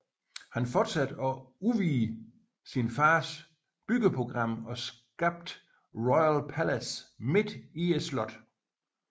Han fortsatte og udvidede sin faders byggeprogram og skabte Royal Palace midt i slottet